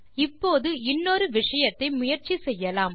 இப்போது இன்னொரு விஷயத்தை முயற்சி செய்யலாம்